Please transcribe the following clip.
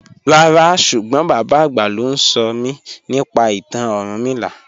Ràrá súgbọ́n bàbá agbá ló nsọ̀mí nípa ìtàn Orúnmìlà.